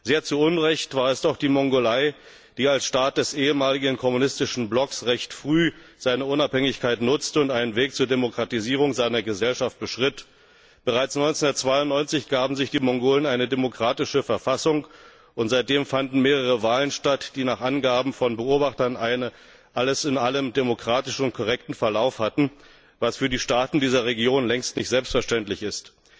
Sehr zu Unrecht, war es doch die Mongolei, die als Staat des ehemaligen kommunistischen Blocks recht früh ihre Unabhängigkeit nutzte und einen Weg zur Demokratisierung ihrer Gesellschaft beschritt. Bereits 1992 gaben sich die Mongolen eine demokratische Verfassung, und seitdem fanden mehrere Wahlen statt, die nach Angaben von Beobachtern einen alles in allem demokratisch korrekten Verlauf hatten, was für die Staaten dieser Region längst nicht selbstverständlich ist.